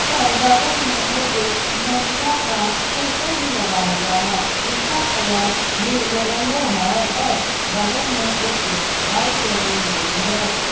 और बगल में एक मेगिया का पोस्टर भी लगा हुआ है जिसका कलर भी येलो है और बगल में एक बाइक लगे हुई है।